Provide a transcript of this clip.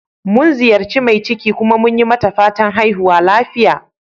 Mun ziyaci mai ciki, kuma mun yi mata fatan"haihuwa lafiya."